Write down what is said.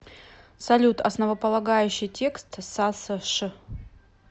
салют основополагающий текст сасш